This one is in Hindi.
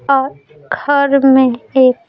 और घर में एक--